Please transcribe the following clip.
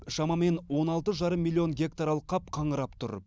шамамен он алты жарым миллион гектар алқап қаңырап тұр